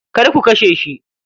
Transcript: Kar ku kashe shi.